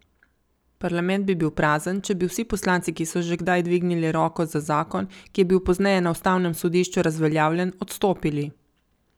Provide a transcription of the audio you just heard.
Parlament bi bil prazen, če bi vsi poslanci, ki so že kdaj dvignili roko za zakon, ki je bil pozneje na ustavnem sodišču razveljavljen, odstopili.